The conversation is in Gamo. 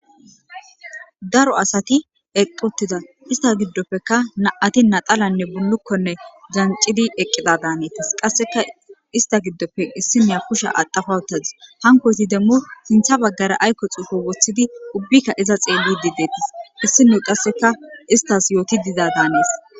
Daro asati eqqutiza ista giddoppeka na7ati naxalanne bullukkonne jancidi eqqida daaneetis qasseka ista giddoppe issineya kusha adafawutazi hankohti demmo sintha baggara aykko xuufo woththidi ubbikka iza xeelli di deetis issino qasseka istas yooti diza daanees.